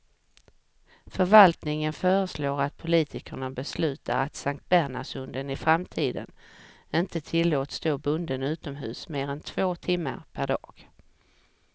Förvaltningen föreslår att politikerna beslutar att sanktbernhardshunden i framtiden inte tillåts stå bunden utomhus mer än två timmar per dag.